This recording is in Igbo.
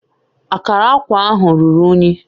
Akara akwa ahụ ruru unyi